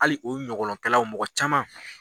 Hali u ɲɔgɔnlɔn kɛlaw mɔgɔ caman